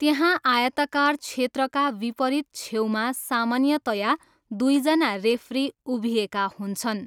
त्यहाँ आयताकार क्षेत्रका विपरीत छेउमा सामान्यतया दुईजना रेफरी उभिएका हुन्छन्।